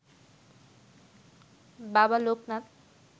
বাবা লোকনাথ